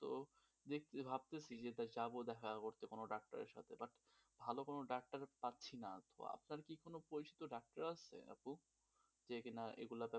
তো দেখতেছি ভাবতেছি যে যাব দেখা করতে কোন ডাক্তারের সাথে, but ভালো কোন ডাক্তারও পাচ্ছিনা. তো আপনার কি কোন পরিচিত ডাক্তার আছে আপু? যে কিনা এই রোগগুলো